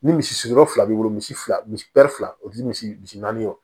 Ni misi sigiyɔrɔ fila b'i bolo misi fila misi fila o ti misi misi naani wo